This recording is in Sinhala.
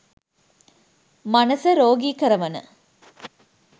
මනස රෝගී කරවන